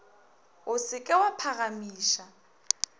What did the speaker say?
o se ke wa phagamiša